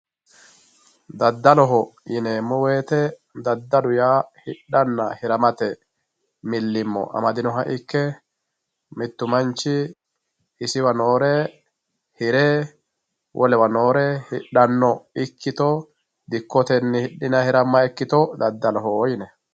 daddaloho yineemo woyiite daddalu yaa hidhanna hiramate milimmo amadinoha ikke mittu manchi isiwa noore hire wolewa noore hidhanno ikkito dikkotenni hidhinayi hiramayi ikkito daddaloho yinanni.